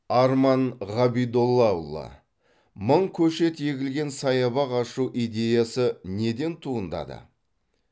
арман ғабидоллаұлы мың көшет егілген саябақ ашу идеясы неден туындады